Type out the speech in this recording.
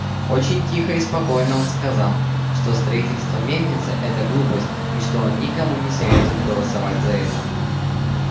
очень тихо и спокойно он сказал что строительство мельницы это глупость и что он никому не советует голосовать за это